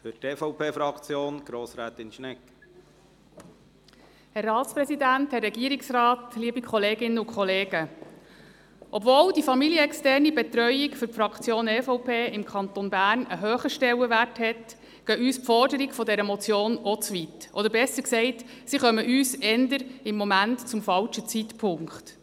Obwohl die familienexterne Betreuung für die Fraktion EVP im Kanton Bern einen hohen Stellenwert hat, gehen uns die Forderungen dieser Motion auch zu weit, oder besser gesagt, sie kommen uns im Moment zum falschen Zeitpunkt.